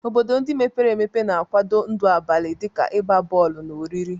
Obodo ndị mepere emepe na-akwado ndụ abalị dị ka ịgba bọọlụ na oriri.